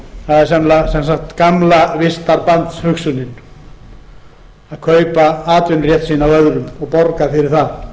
þeim það er sem sagt gamla vistarbandshugsunin að kaupa atvinnurétt sinn af öðrum og borga fyrir það